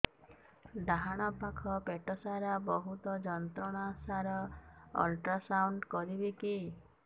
ଡାହାଣ ପାଖ ପେଟ ସାର ବହୁତ ଯନ୍ତ୍ରଣା ସାର ଅଲଟ୍ରାସାଉଣ୍ଡ କରିବି କି